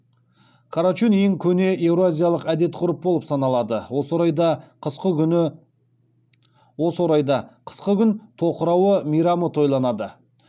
карачун ең көне еуразиялық әдет ғұрып болып саналады осы орайда қысқы күн тоқырауы мейрамы тойланады